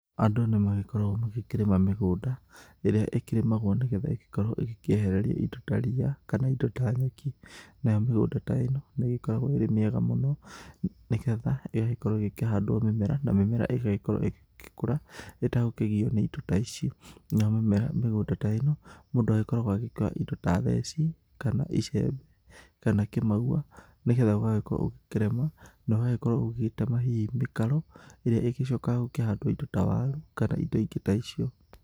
Andũ nĩmagĩkoragwo magĩkĩrĩma mĩgũnda, ĩrĩa ĩkĩrĩmagwo nĩgetha ĩgĩkorwo ĩgĩkĩehereria indo ta riia, kana indo ta nyeki. Nayo mĩgũnda ta ĩno nĩĩgĩkoragwo ĩrĩ mĩega mũno, nĩgetha ĩgagĩkorwo ĩgĩkĩhandwo mĩmera na mĩmera ĩgagĩkorwo ĩgĩkũra ĩtagũkĩgio nĩ indo ta ici. Nayo mimera mĩgũnda ta ĩno mũndũ agĩkoragwo agĩkua indo ta theci, kana icembe, kana kĩmaua, nigetha ũgagĩkorwo ugĩkĩrĩma, na ũgagĩkorwo ũgĩgĩtema hihi mĩkaro ĩrĩa ĩgĩcokaga gũkĩhandwo indo ta waru kana indo ingĩ ta icio